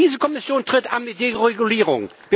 Diese Kommission tritt an mit Deregulierung.